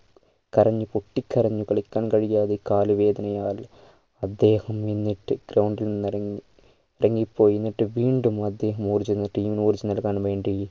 കരഞ്ഞ് പൊട്ടി കരഞ്ഞ് കളിക്കാൻ കഴിയാതെ കാൽവേദനയാൽ അദ്ദേഹം എന്നിട്ട് ground ഇൽ ഇറങ്ങി ഇറങ്ങിപ്പോയി എന്നിട്ട് വീണ്ടും ഓടി ചെന്ന് team നോട് ചെന്ന് എടുക്കാൻ വേണ്ടി